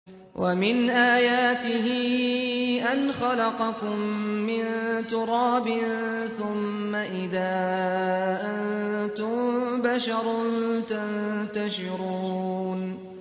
وَمِنْ آيَاتِهِ أَنْ خَلَقَكُم مِّن تُرَابٍ ثُمَّ إِذَا أَنتُم بَشَرٌ تَنتَشِرُونَ